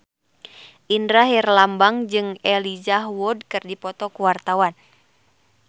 Indra Herlambang jeung Elijah Wood keur dipoto ku wartawan